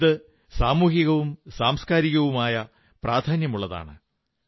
ഇത് സാമൂഹികവും സാംസ്കാരികവുമായി പ്രാധാന്യമുള്ളതാണ്